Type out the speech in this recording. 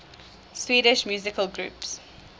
swedish musical groups